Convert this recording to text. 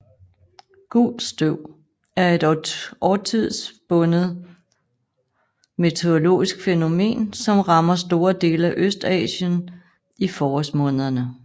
Gult støv er et årstidsbundet meteorologisk fænomen som rammer store dele af Østasien i forårsmånederne